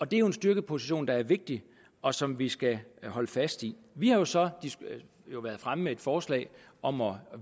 det er jo en styrkeposition der er vigtig og som vi skal holde fast i vi har jo så været fremme med et forslag om at